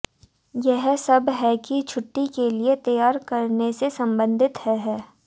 यह सब है कि छुट्टी के लिए तैयार करने से संबंधित है है